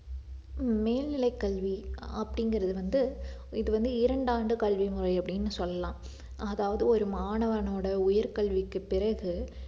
ஹம் மேல்நிலைக் கல்வி அப்படிங்கிறது வந்து இது வந்து இரண்டு ஆண்டு கல்விமுறை அப்படின்னு சொல்லலாம் அதாவது ஒரு மாணவனோட உயர் கல்விக்கு பிறகு